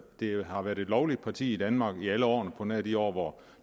det har været et lovligt parti i danmark i alle årene på nær de år hvor